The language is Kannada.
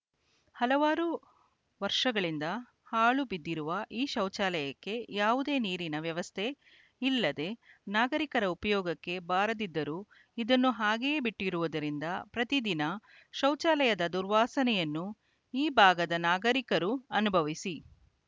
ಹಲವಾರು ವರ್ಷಗಳಿಂದ ಹಾಳು ಬಿದ್ದಿರುವ ಈ ಶೌಚಾಲಯಕ್ಕೆ ಯಾವುದೇ ನೀರಿನ ವ್ಯವಸ್ಥೆ ಇಲ್ಲದೇ ನಾಗರೀಕರ ಉಪಯೋಗಕ್ಕೆ ಬಾರದಿದ್ದರೂ ಇದನ್ನು ಹಾಗೆಯೇ ಬಿಟ್ಟಿರುವುದರಿಂದ ಪ್ರತಿದಿನ ಶೌಚಾಲದ ದುರ್ವಾಸನೆಯನ್ನು ಈ ಭಾಗದ ನಾಗರೀಕರು ಅನುಭವಿಸಿ